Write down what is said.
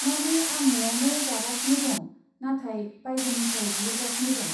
माने, आं नआवनो जागासिनो दं नाथाय बायजोनिफ्राय बिहरगासिनो दं।